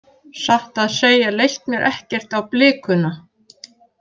Satt að segja leist mér ekkert á blikuna.